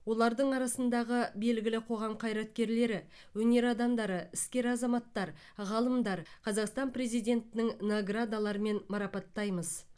олардың арасындағы белгілі қоғам қайраткерлері өнер адамдары іскер азаматтар ғалымдар қазақстан президентінің наградаларымен марапаттаймыз